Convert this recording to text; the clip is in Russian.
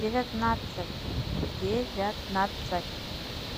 девятнадцать девятнадцать